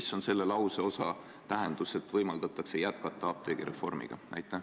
Mis on selle lauseosa, et võimaldatakse jätkata apteegireformi, tähendus?